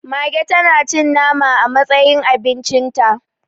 Mage tanacin nama a matsayin abincinta